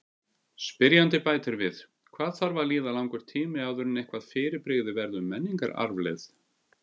Spyrjandi bætir við: Hvað þarf að líða langur tími áður en eitthvað fyrirbrigði verður menningararfleifð?